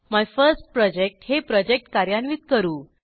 my first project हे project कार्यान्वित करू